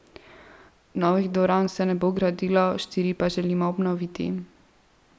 Novih dvoran se ne bo gradilo, štiri pa želimo obnoviti.